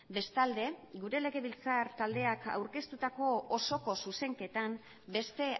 bestalde gure legebiltzar taldeak aurkeztutako osoko zuzenketan beste